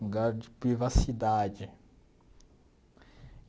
Lugar de privacidade.